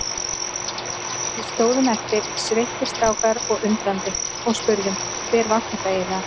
Við stóðum eftir, sveittir strákar og undrandi og spurðum: Hver var þetta eiginlega?